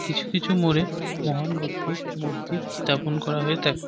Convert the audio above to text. কিছু কিছু মোড়ে মহান ব্যক্তির মূর্তি স্থাপন করা হয়ে থাকে।